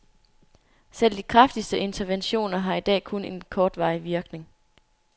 Selv de kraftigste interventioner har i dag kun en kortvarig virkning.